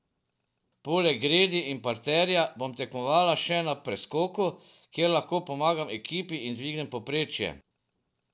Poleg gredi in parterja bom tekmovala še na preskoku, kjer lahko pomagam ekipi in dvignem povprečje.